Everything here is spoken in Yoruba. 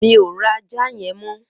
Mi ó rá àjá yèn mọ